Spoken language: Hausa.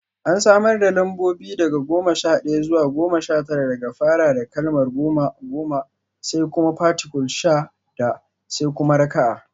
An samar da lambobi daga goma sha ɗaya zuwa goma sha tara da fara da kalmar goma (goma), sai kuma particule sha (da), sai kuma raka'a: